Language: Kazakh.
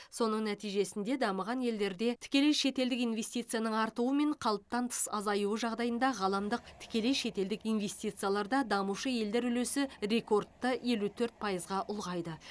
соның нәтижесінде дамыған елдерде тікелей шетелдік инвестицияның артуы мен қалыптан тыс азаюы жағдайында ғаламдық тікелей шетелдік инвестицияларда дамушы елдер үлесі рекордты елу төрт пайызға ұлғайды